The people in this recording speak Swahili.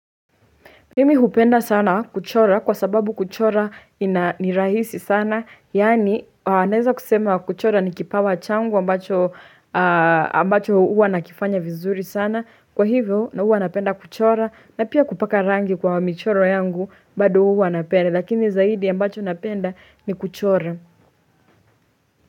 Mimi hupenda sana kuchora kwa sababu kuchora ni rahisi sana Yaani naeza kusema kuchora ni kipawa changu ambacho huwa nakifanya vizuri sana Kwa hivyo na huwa napenda kuchora na pia kupaka rangi kwa michoro yangu bado huwa napenda Lakini zaidi ambacho napenda ni kuchora.